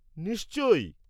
নিশ্চয়ই!